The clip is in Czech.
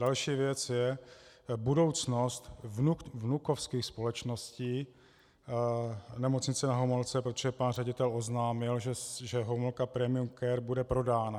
Další věc je budoucnost vnukovských společností Nemocnice Na Homolce, protože pan ředitel oznámil, že Homolka Premium Care bude prodána.